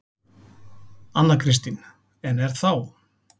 Anna Kristín: En er þá.